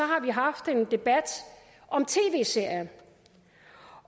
har haft en debat om tv serier